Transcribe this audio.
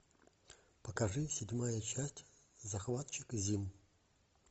покажи седьмая часть захватчик зим